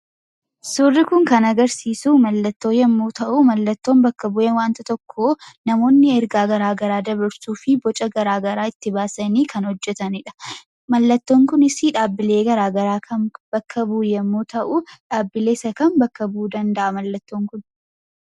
Suurri kun kan argisiisu mallattoo yemmuu ta'u, mallattoon bakka bu'ee wanta tokkoo namoonni ergaa garaagaraa dabarsuuf boca garaagaraa itti baasanii hojjatanidha. Innis dhaabbilee garaagaraa kan bakka bu'u yemmuu ta'u, dhaabbilee isa kam bakka bu'uu danda'a mallattoon kun?